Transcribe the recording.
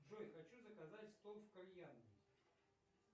джой хочу заказать стол в кальянной